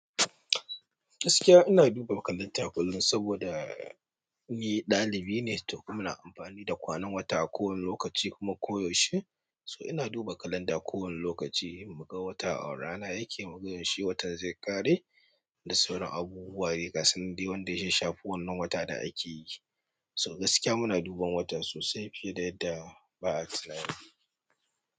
Gaskiya ina duba kalanda kullum saboda ni ɗalibi ne, to kuma ina amfani da kwanan wata a kowane lokaci kuma koyaushe. So ina duba kalanda kowane lokaci in mu ga wata a rana yake, mu ga yaushe wata zai ƙare da sauran abubuwa dayaka san da wanda ya shafe wannan wata da ake yi. So gaskiya muna duban wata sosai fiye da yadda ba'a tunani.